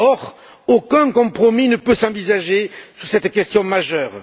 Or, aucun compromis ne peut s'envisager sur cette question majeure.